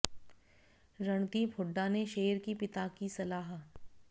रणदीप हुड्डा ने शेयर की पिता की सलाह